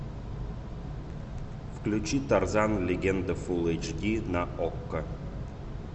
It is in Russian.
включи тарзан легенда фул эйч ди на окко